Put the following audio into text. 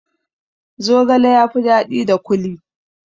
Zogale ya fi daɗi da kuli